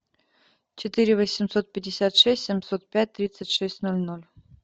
четыре восемьсот пятьдесят шесть семьсот пять тридцать шесть ноль ноль